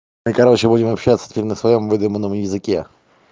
и короче будем общаться теперь на своём выдуманном языке